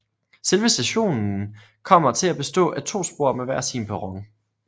Selve stationen kommer til at bestå af to spor med hver sin perron